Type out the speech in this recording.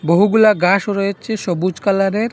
বহুগুলা ঘাসও রয়েছে সবুজ কালারের।